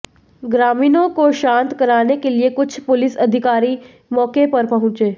ग्रामीणों को शांत कराने के लिए कुछ पुलिस अधिकारी मौके पर पहुंचे